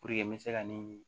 Puruke n bɛ se ka nin